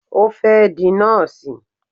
O fẹ́ di Nọ́ọ̀sì